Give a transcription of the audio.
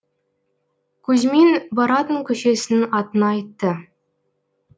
кузьмин баратын көшесінің атын айтты